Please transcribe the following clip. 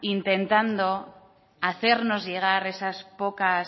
intentando hacernos llegar esas pocas